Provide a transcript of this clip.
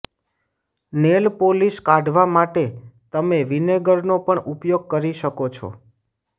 nail polish કાઢવા માટે તમે વિનેગરનો પણ ઉપયોગ કરી શકો છો